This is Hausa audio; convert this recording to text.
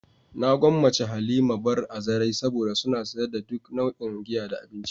Na gwammace "Halima bar" a zarai saboda suna sayar da duk nau'in giya da abinci.